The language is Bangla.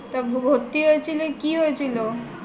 তা ভর্তি হয়েছিলে কি হয়েছিল